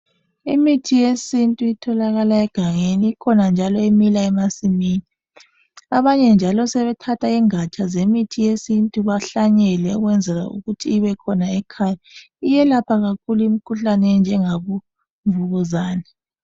Imithi yesintu etholakala egangeni ikhona njalo emila emasimini. Abanye njalo sebethatha ingatsha zemithi yesintu bahlanyele beyenzela ukuthi ibe khona ekhaya .Iyelapha kakhulu imikhuhlane enjengabo mvukuzane.